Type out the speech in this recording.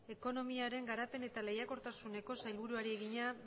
ekonomiaren garapen eta lehiakortasuneko sailburuari egina